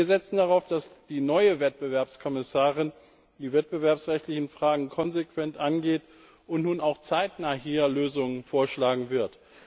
Wir setzen darauf, dass die neue Wettbewerbskommissarin die wettbewerbsrechtlichen Fragen konsequent angeht und nun auch zeitnah Lösungen vorschlagen wird.